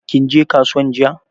Kinje kasuwan jiya?